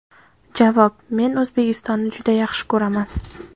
Javob: Men O‘zbekistonni juda yaxshi ko‘raman.